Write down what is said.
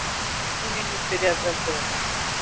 Vinir mínir, byrjaði presturinn.